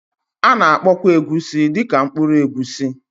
A na-akpọkwa Egusi dị ka mkpụrụ egusi